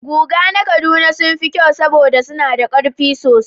Guga na Kaduna sun fi kyau saboda suna da ƙarfi sosai